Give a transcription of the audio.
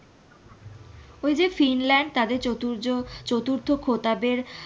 ওই যে ফিনল্যাণ্ড তাদের চতুজচতুর্থ খোতাবের।